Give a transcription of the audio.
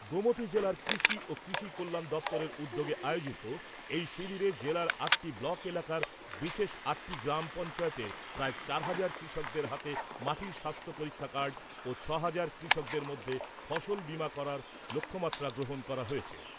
গোমতী জেলার কৃষি ও কৃষি কল্যাণ দপ্তরের উদ্যোগে আয়োজিত এই শিবিরে জেলার আটটি ব্লক এলাকার বিশেষ আটটি গ্রাম পঞ্চায়েতের প্রায় চার হাজার কৃষকদের হাতে মাটির স্বাস্থ্য পরীক্ষা কার্ড ও ছ হাজার কৃষকদের মধ্যে ফসল বীমা করার লক্ষ্যমাত্রা গ্রহণ করা হয়েছে।